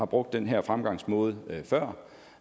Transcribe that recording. brugt den her fremgangsmåde før